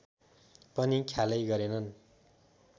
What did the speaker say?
पनि ख्यालै गरेनन्